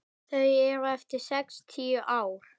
Þau eru eftir sextíu ár.